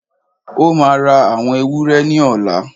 Ó máà ń ra awon ewúrẹ́ ni ola.